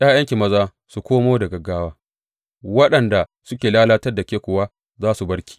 ’Ya’yanki maza su komo da gaggawa, waɗanda suka lalatar da ke kuwa za su bar ki.